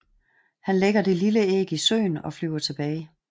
Han lægger det lille æg i søen og flyver tilbage